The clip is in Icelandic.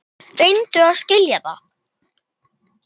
Reyndu að skilja það!